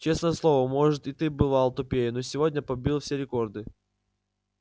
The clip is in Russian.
честное слово может ты и бывал тупее но сегодня побил все рекорды